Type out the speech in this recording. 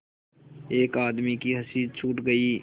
एक आदमी की हँसी छूट गई